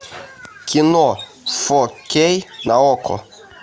кино фо кей на окко